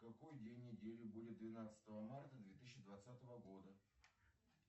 какой день недели будет двенадцатого марта две тысячи двадцатого года